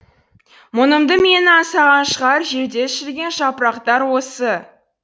мұңымды менің аңсаған шығар жерде шіріген жапырақтар осы